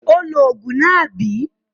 Ó lo òògùn náà, àbí?